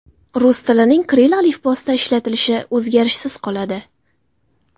Rus tilining kirill alifbosida ishlatilishi o‘zgarishsiz qoladi.